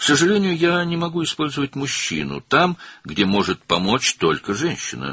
Təəssüf ki, mən yalnız qadının kömək edə biləcəyi yerdə kişidən istifadə edə bilmərəm.